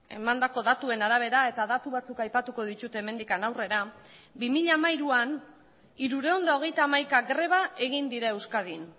emandako datuen arabera eta datu batzuk aipatuko ditut hemendik aurrera bi mila hamairuan hirurehun eta hogeita hamaika greba egin dira euskadin